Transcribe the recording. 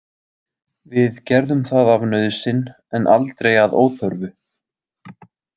Við gerðum það af nauðsyn en aldrei að óþörfu.